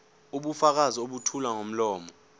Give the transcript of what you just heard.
ubufakazi obethulwa ngomlomo